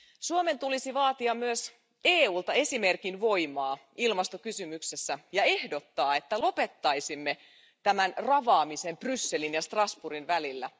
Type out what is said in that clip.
Suomen tulisi vaatia myös EUlta esimerkin voimaa ilmastokysymyksessä ja ehdottaa, että lopettaisimme tämän ravaamisen Brysselin ja Strasbourgin välillä.